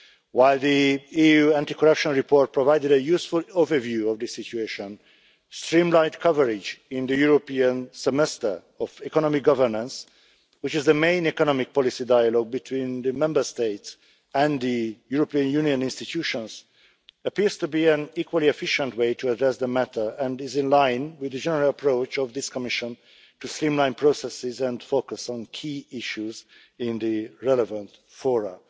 While the EU anti corruption report provided a useful overview of the situation, streamlined coverage in the European semester of economic governance, which is the main economic policy dialogue between the Member States and the European Union institutions, appears to be an equally efficient way to address the matter and is in line with the general approach of this Commission to streamline processes and focus on key issues in the relevant fora.